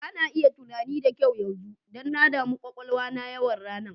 Ba na iya tunani da kyau yanzu, dan na damu kwakwalwa na yawan ranan.